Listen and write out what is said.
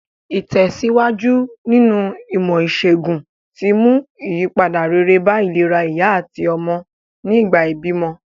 Ìtèsíwájú nínu ìmò ìsègùn ti mú ìyípadà rere bá ìlera ìyá àtí ọmọ nìgbà ìbímọ